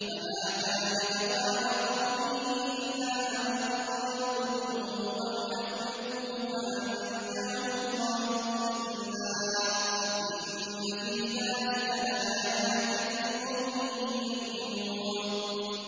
فَمَا كَانَ جَوَابَ قَوْمِهِ إِلَّا أَن قَالُوا اقْتُلُوهُ أَوْ حَرِّقُوهُ فَأَنجَاهُ اللَّهُ مِنَ النَّارِ ۚ إِنَّ فِي ذَٰلِكَ لَآيَاتٍ لِّقَوْمٍ يُؤْمِنُونَ